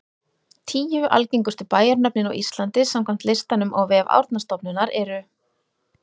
Tíu algengustu bæjarnöfnin á Íslandi samkvæmt listanum á vef Árnastofnunar eru: